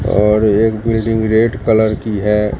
और एक building red colour की है।